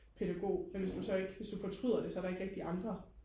pædagog men hvis du så ikke hvis du fortryder der så er der ikke rigtig andre